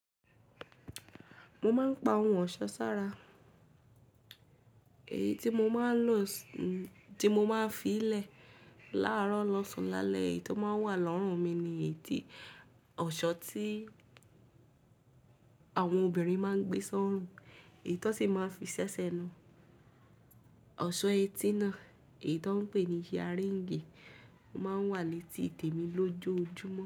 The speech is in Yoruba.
Mo máa ń pa ohun ọ̀ṣọ́ sára, èyí tí mo máa ń lò tí mo máa ń fi lẹ̀ láàárọ̀ lọ́sàn-án lálẹ́ èyí tó máa ń wà lọ́rùn mi ni èyí tí ọ̀ṣọ́ tí àwọn obìnrin máa ń gbé sórùn èyí tó sì máa ń fi ṣẹ́ṣẹ́ na, ọ̀ṣọ́ etí náà èyí tó ń pè ní earring o máa n wà létí èdè mi lójoojúmọ́